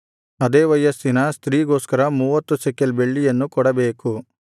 ಅದೇ ವಯಸ್ಸಿನ ಸ್ತ್ರೀಗೋಸ್ಕರ ಮೂವತ್ತು ಶೆಕೆಲ್ ಬೆಳ್ಳಿಯನ್ನು ಕೊಡಬೇಕು